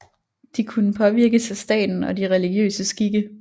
De kunne påvirkes af staten og de religiøse skikke